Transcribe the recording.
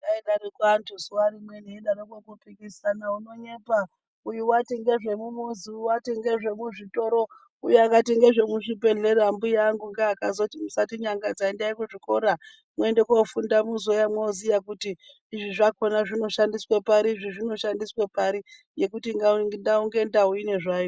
Aidaroko anhu zuwa rimweni eidaroko kupikisana ,unonyepa uyu wati ngezvemumuzi uyu wati ngezvemuzvitoro uyu akati ngezvemuzvibhehlera, mbuya angu ngea akazoti musatinyangadza endai kuzvikora mwoende kofunda muzouya mwoziya kuti izvi zvakona zvinoshandiswe pari, izvi zvinoshandiswe pari ngekuti ndau ngendau inezvayo.